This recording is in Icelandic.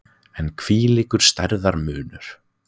En hvílíkur stærðarmunur!